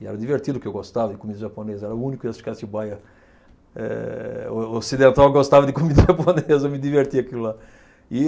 E era divertido que eu gostava de comida japonesa, eu era o único acho que em Atibaia eh o ocidental que gostava de comida japonesa, me divertia aquilo lá.